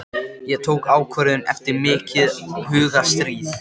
Kalívinnsla er einna mest í Þýskalandi og Bandaríkjunum.